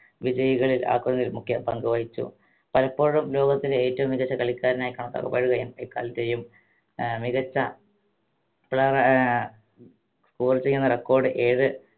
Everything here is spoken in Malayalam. വിജയികളിൽ ആക്കുന്നതിൽ മുഖ്യ പങ്ക് വഹിച്ചു പലപ്പോഴും ലോകത്തിലെ ഏറ്റവും മികച്ച കളിക്കാരനായി കണക്കാക്കപ്പെടുകയും എക്കാലത്തെയും ഏർ മികച്ച ഏർ score ചെയ്യുന്ന record ഏത്